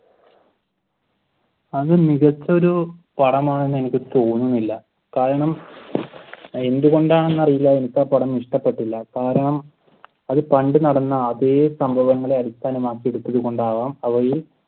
അത് മികച്ച ഒരു പടമാണെന് എനിക്ക് തോന്നുന്നില്ല. കാരണം എന്തുകൊണ്ടാണെന്ന് അറിയില്ല എനിക്ക് ആ പടം ഇഷ്ടപ്പെട്ടില്ല. കാരണം അത് പണ്ട് നടന്ന അതെ സംഭവത്തെ അടിസ്ഥാനമാക്കിയെടുത്തത് കൊണ്ടാവാം അവയിൽ